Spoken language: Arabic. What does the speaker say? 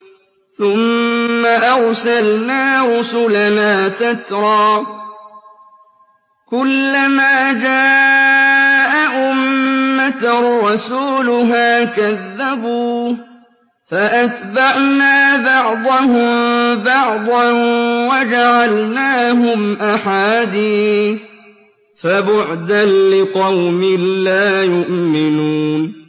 ثُمَّ أَرْسَلْنَا رُسُلَنَا تَتْرَىٰ ۖ كُلَّ مَا جَاءَ أُمَّةً رَّسُولُهَا كَذَّبُوهُ ۚ فَأَتْبَعْنَا بَعْضَهُم بَعْضًا وَجَعَلْنَاهُمْ أَحَادِيثَ ۚ فَبُعْدًا لِّقَوْمٍ لَّا يُؤْمِنُونَ